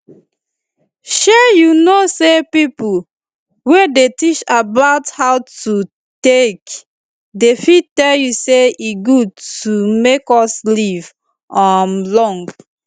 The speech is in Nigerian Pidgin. shey you know say pipo wey dey teach about how to take dey fit tell us say e good to make us live um long